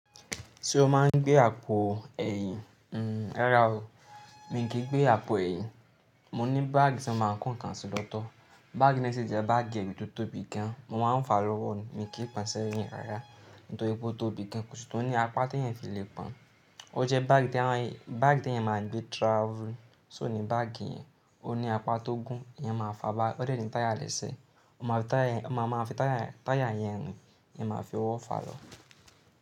Ṣé o máa ń gbé àpò ẹ̀yìn? Hmm, rárá o, mi kì í gbé àpò ẹ̀yìn. Mo ní báàgì tí mo máa ń kó nǹkan sí lọ́tọ̀. Báàgì náà sì jẹ́ báàgì ẹ̀yìn tó tóbi gan. Mo máa ń fa lọ́wọ́, mi kì í pọn sẹ́yìn rárá. Nítorí pé ó tóbi gan, ṣùgbọ́n ó ní apá tí èèyàn fi le pọn. Ó jẹ́ báàgì tí àwọn èèyàn, báàgì tí èèyàn máa ń gbé travel. Só ni báàgì yẹn, ó ní apá tó gún, èèyàn máa fa bá a. Ó de ni táyà lẹ́sẹ̀, o máa fi táyà, o máa máa fi táyà, táyà yẹn rìn, èèyàn máa fi ọwọ́ fa lọ.